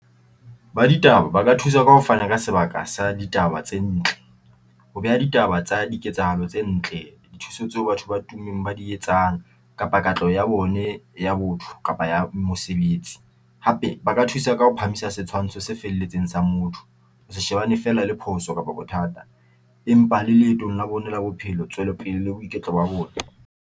Ba ditaba baka thusa ka ho fana ka sebaka sa ditaba tse ntle ho beha ditaba tsa di ketsahalo tse ntle. Dithuso tse batho ba tummeng ba di etsang kapa katleho ya bone ya botho kapa ya mosebetsi hape ba ka thusa ka ho phahamisa setshwantsho se felletseng sa motho. Ho se shebane fela le phoso kapa bothata, empa le leetong la bone la bophelo, tswelopele le boiketlo ba bone.